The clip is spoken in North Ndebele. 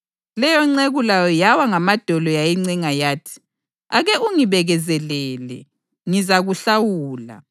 Leyonceku layo yawa ngamadolo yayincenga yathi, ‘Ake ungibekezelele, ngizakuhlawula.’